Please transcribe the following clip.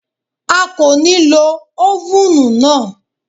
A kò ní lo ófùnù náà